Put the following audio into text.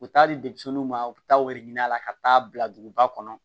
U bɛ taa di denmisɛnninw ma u bɛ taa ɲini a la ka taa bila duguba kɔnɔ